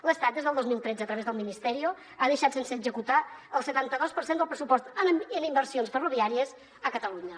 l’estat des del dos mil tretze a través del ministerio ha deixat sense executar el setanta dos per cent del pressupost en inversions ferroviàries a catalunya